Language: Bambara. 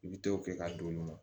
I bi t'o kɛ ka don nin na